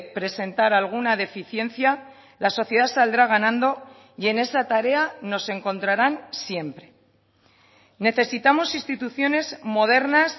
presentar alguna deficiencia la sociedad saldrá ganando y en esa tarea nos encontrarán siempre necesitamos instituciones modernas